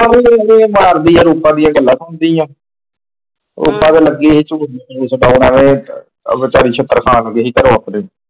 ਇਹਦਾ ਹੀ ਮਾਰ ਦੀ ਆ ਰੂਪ ਵੀ ਆ ਗੱਲਾਂ ਰੂਪ ਤੇ ਲੱਗੀ ਹੋਈ ਆ ਛੂਟ ਉਹਦੋਂ ਛਿੱਤਰ ਖ਼ੂਨ ਨੂੰ ਗਈ ਸੀ ਘਰੋਂ ਆਪਣੇ।